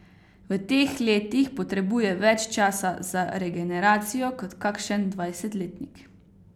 V teh letih potrebuje več časa za regeneracijo kot kakšen dvajsetletnik.